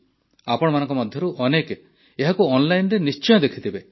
ଆପଣମାନଙ୍କ ମଧ୍ୟରୁ ଅନେକେ ଏହାକୁ ଅନ୍ଲାଇନ୍ରେ ନିଶ୍ଚୟ ଦେଖିଥିବେ